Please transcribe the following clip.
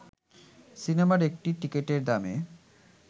সিনেমার একটি টিকিটের দামে